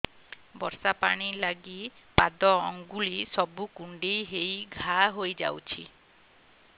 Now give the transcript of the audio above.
ବର୍ଷା ପାଣି ଲାଗି ପାଦ ଅଙ୍ଗୁଳି ସବୁ କୁଣ୍ଡେଇ ହେଇ ଘା ହୋଇଯାଉଛି